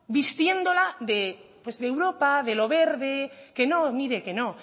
vistiéndola de europa de lo verde que no mire que no